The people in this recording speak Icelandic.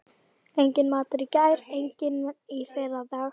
Enginn matur í gær, enginn í fyrradag.